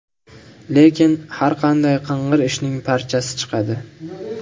Lekin, har qanday qing‘ir ishning parchasi chiqadi.